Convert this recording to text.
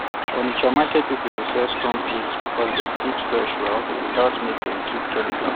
onitsha market people dey sell stone peas because dem fit fresh well without make dem keep chemical